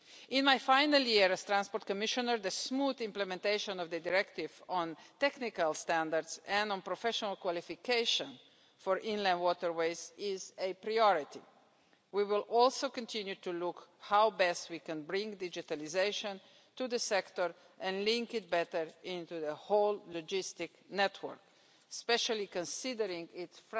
In my final year as Transport Commissioner, the smooth implementation of the directive on technical standards and on professional qualification for inland waterways is a priority. We will also continue to look at how best we can bring digitalisation to the sector and link it better into the whole logistic network, especially considering its